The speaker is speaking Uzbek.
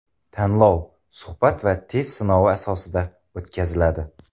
Tanlov suhbat va test sinovi asosida o‘tkaziladi.